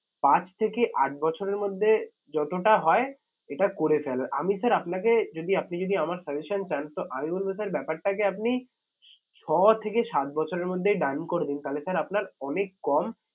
পাঁচ থেকে আট বছরের মধ্যে যতটা হয় এটা করে ফেলা আমি sir আপনাকে যদি আপনি যদি আমার suggestion চান তো আমি বলবো sir ব্যাপারটাকে আপনি ছ থেকে সাত বছরের মধ্যে done করে দিন তাহলে sir আপনার অনেক কম